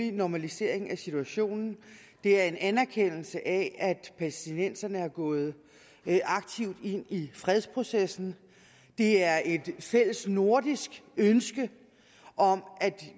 en normalisering af situationen det er en anerkendelse af at palæstinenserne er gået aktivt ind i fredsprocessen det er et fælles nordisk ønske om at